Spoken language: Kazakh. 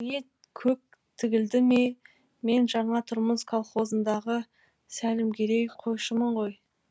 ет көк тігілді ме мен жаңа тұрмыс колхозындағы сәлімгерей қойшымын ғой